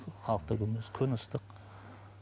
халық та көп емес күн ыстық